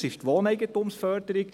Das ist die Wohneigentumsförderung.